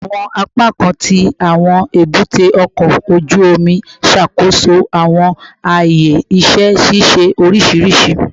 Awọn apakan ti awọn ebute oko oju omi n ṣakoso awọn aaye iṣẹ ṣiṣe oriṣiriṣi